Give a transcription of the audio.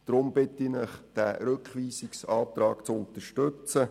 Deswegen bitte ich Sie, diesen Rückweisungsantrag zu unterstützen.